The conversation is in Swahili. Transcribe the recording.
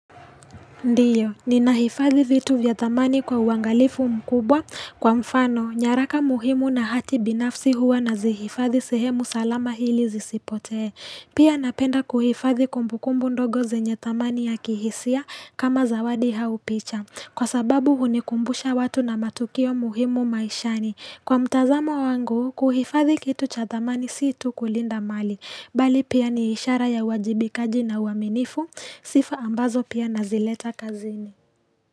Ndio, nina hifadhi vitu vya thamani kwa uangalifu mkubwa, kwa mfano, nyaraka muhimu na hati binafsi huwa nazihifadhi sehemu salama ili zisipotee. Pia napenda kuhifadhi kumbukumbu ndogo zenye thamani ya kihisia kama zawadi hau picha, kwa sababu hunikumbusha watu na matukio muhimu maishani. Kwa mtazamo wangu, kuhifadhi kitu cha thamani si tu kulinda mali, bali pia ni ishara ya uwajibikaji na uaminifu, sifa ambazo pia nazileta kazini.